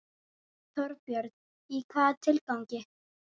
Þorbjörn: Í hvaða tilgangi?